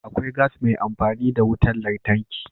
Akwai gas mai amfani da wutar lantarki.